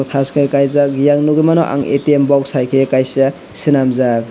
tash ke kaijak eyang nogoimano ang atm boksaike kaisa senamjak.